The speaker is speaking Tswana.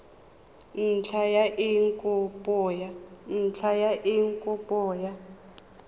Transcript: ntlha ya eng kopo ya